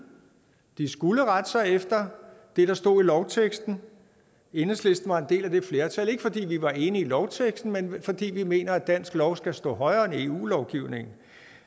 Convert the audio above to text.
de skulle rette sig efter det der stod i lovteksten og enhedslisten var en del af det flertal ikke fordi vi var enige i lovteksten men fordi vi mener at dansk lov skal stå højere end eu lovgivningen